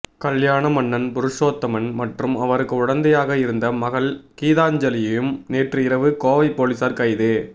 கல்யாண மன்னன் புருஷோத்தமன் மற்றும் அவருக்கு உடைந்தையாக இருந்த மகள் கீதாஞ்சலியையும் நேற்று இரவு கோவை போலீசார் கைது